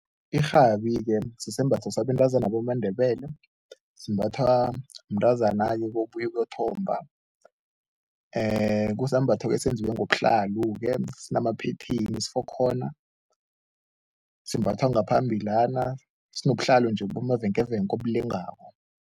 Irhabi-ke sisembatho sabentazana bamaNdebele simbathwa mntazana-ke obuye ukuyothomba. Kusambatho esenziwe ngobuhlalu-ke, sifokhona, simbathwa ngaphambilana sinobuhlalo nje obulengako.